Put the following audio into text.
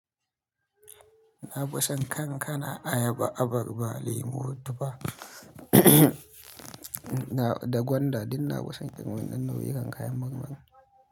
Na ba san kan kana ayaba, abarba, lemu, tufa da, da gwanda, duk na ba san ƙayyin wannan nau'ikan kayan marmari.